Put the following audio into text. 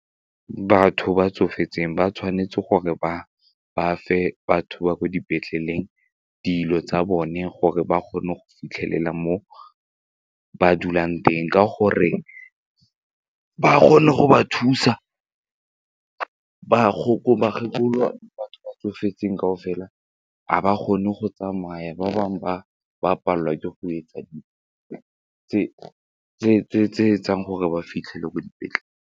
Batho ba tsofetseng ba tshwanetse gore ba bafe batho ba ko dipetleleng dilo tsa bone gore ba kgone go fitlhelela mo ba dulang teng ka gore ba kgone go ba thusa go batho ba tsofetseng kao fela ga ba kgone go tsamaya ba bangwe ba ba palelwa ke go etsa dilo tse etsang gore ba fitlhele ko dipetleleng.